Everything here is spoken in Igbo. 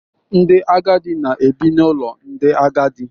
Ndị agadi na-ebi n'ụlọ ndị agadi.